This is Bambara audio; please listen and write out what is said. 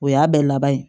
O y'a bɛɛ laban ye